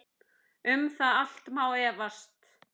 Um það allt má efast.